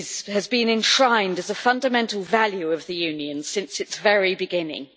has been enshrined as a fundamental value of the Union since its very beginning.